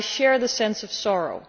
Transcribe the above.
I share the sense of sorrow.